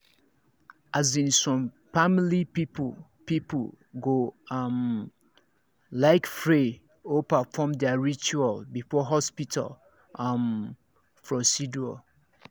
as in some family people people go um like pray or perfom their ritual before hospital um procedure